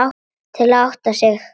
Til að átta sig.